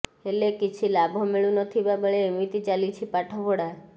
ହେଲେ କିଛି ଲାଭ ମିଳୁନଥିବା ବେଳେ ଏମିତି ଚାଲିଛି ପାଠପଢା